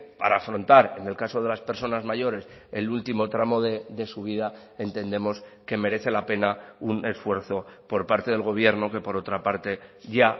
para afrontar en el caso de las personas mayores el último tramo de su vida entendemos que merece la pena un esfuerzo por parte del gobierno que por otra parte ya